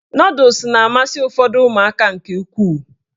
Nọdụs na-amasị ụfọdụ ụmụaka nke ukwuu